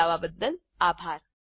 જોડાવા બદ્દલ આભાર